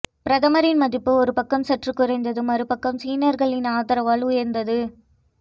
பிரதமரின் மதிப்பு ஒரு பக்கம் சற்றுக் குறைந்தது மறுபக்கம் சீனர்களின் ஆதரவால் உயர்ந்தது